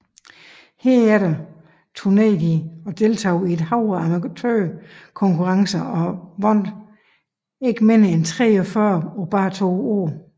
Herefter turnerede de og deltog i et hav af amatørkonkurrencer og vandt ikke mindre end 43 på bare to år